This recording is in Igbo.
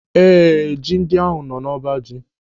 Ee, ji ndị ahụ nọ n'ọbaji.